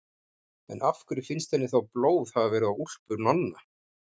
En af hverju finnst henni þá blóð hafa verið á úlpu Nonna?